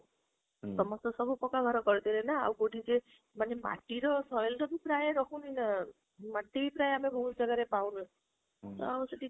ସମସ୍ତେ ତ ପକ୍କା ଘର କରି ଦେଲାକଲେ ନା ଆଉ କୋଉଠି ଯେ ମାଟି ମାଟି ର soil ର ପ୍ରାୟ ରହୁନି ଅ ମାଟି ପ୍ରାୟ ଆମେ ବହୁତ ଜାଗାରେ ପାଉନୁ ତ ଆମେ ସେଇଠି